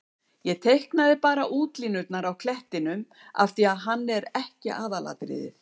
Ég teiknaði bara útlínurnar á klettinum af því að hann er ekki aðalatriðið.